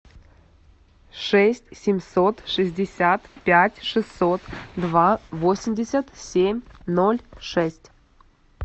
шесть семьсот шестьдесят пять шестьсот два восемьдесят семь ноль шесть